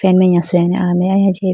penengaswing a meya ahi jiyayi bi.